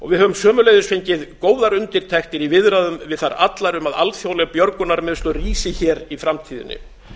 við höfum sömuleiðis fengið góðar undirtektir í viðræðum við þær allar um að alþjóðleg björgunarmiðstöð rísi hér í framtíðinni